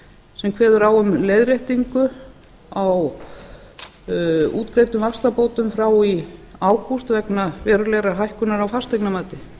sem kveður á um leiðréttingu á útgreiddum vaxtabótum frá í ágúst vegna verulegrar hækkunar á fasteignamati